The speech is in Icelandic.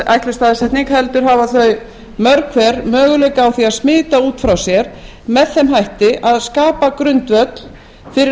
ætluð staðsetning heldur hafa þau mörg hver möguleika á því að smita út frá sér með þeim hætti að skapa grundvöll fyrir